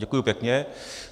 Děkuji pěkně.